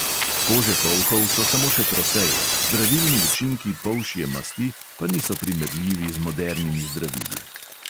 Kože polhov so samo še trofeje, zdravilni učinki polšje masti pa niso primerljivi z modernimi zdravili.